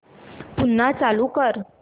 पुन्हा चालू कर